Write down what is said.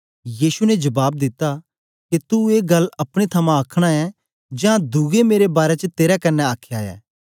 यीशु ने जबाब दिता के तू ए गल्ल अपने थमां आखना ऐ जां दुऐं मेरे बारै च तेरे कन्ने आखया ऐ